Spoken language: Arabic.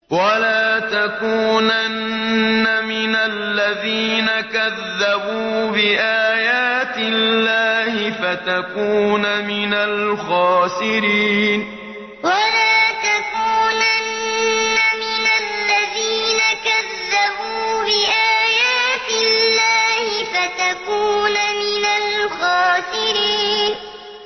وَلَا تَكُونَنَّ مِنَ الَّذِينَ كَذَّبُوا بِآيَاتِ اللَّهِ فَتَكُونَ مِنَ الْخَاسِرِينَ وَلَا تَكُونَنَّ مِنَ الَّذِينَ كَذَّبُوا بِآيَاتِ اللَّهِ فَتَكُونَ مِنَ الْخَاسِرِينَ